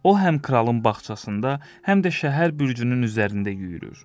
O həm kralın bağçasında, həm də şəhər bürcünün üzərində yüyürür.